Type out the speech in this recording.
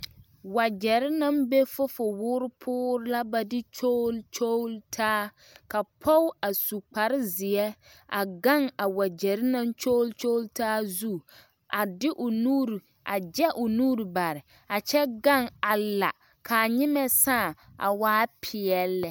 Wagyɛre naŋ be fofowoore poore la ka ba kyogle kyogle taa ka pɔge a su kparezeɛ a gaŋ a wagyɛre naŋ kyogle kyogle taa zu a de o nuure a gyɛ o nuure bare a kyɛ gaŋ a la ka a nyimɛ saa a waa peɛlle lɛ.